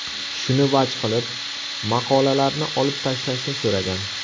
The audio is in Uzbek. Shuni vaj qilib, maqolalarni olib tashlashni so‘ragan.